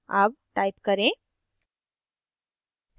अब type करें